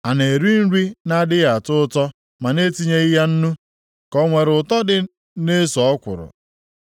A na-eri nri na-adịghị ụtọ ma e etinyeghị ya nnu, ka o nwere ụtọ dị na eso ọkwụrụ?